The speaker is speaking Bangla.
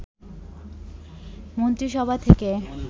মন্ত্রিসভা থেকে